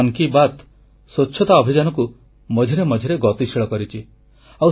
ଆମର ମନ୍ କି ବାତ୍ ସ୍ୱଚ୍ଛତା ଅଭିଯାନକୁ ମଝିରେ ମଝିରେ ଗତିଶୀଳ କରିଛି